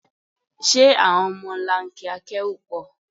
Ṣé àwọn ọmọlanke akẹ́rù pọ̀?